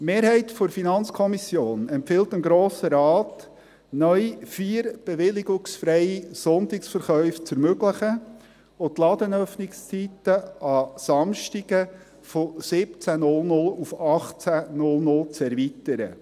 Die Mehrheit der FiKo empfiehlt dem Grossen Rat, neu vier bewilligungsfreie Sonntagsverkäufe zu ermöglichen und die Ladenöffnungszeiten an Samstagen von 17.00 Uhr auf 18.00 Uhr zu erweitern.